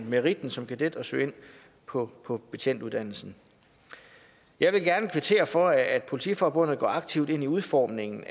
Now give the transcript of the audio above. meritten som kadet og søge ind på betjentuddannelsen jeg vil gerne kvittere for at politiforbundet går aktivt ind i udformningen